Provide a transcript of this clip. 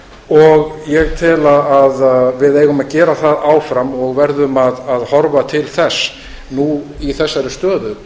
veiða ég tel að við eigum að gera það áfram og verðum að horfa til þess nú í þessari stöðu